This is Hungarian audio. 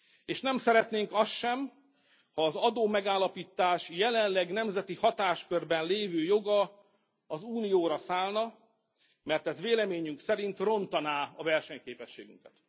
És nem szeretnénk azt sem, ha az adómegállapítás jelenleg nemzeti hatáskörben lévő joga az Unióra szállna, mert ez véleményünk szerint rontaná a versenyképességünket.